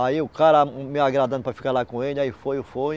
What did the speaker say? Aí o cara me agradando para ficar lá com ele, aí foi e foi.